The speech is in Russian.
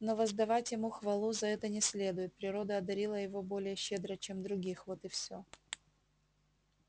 но воздавать ему хвалу за это не следует природа одарила его более щедро чем других вот и все